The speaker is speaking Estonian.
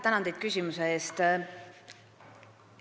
Tänan teid küsimuse eest!